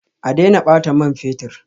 A daina bata man fetur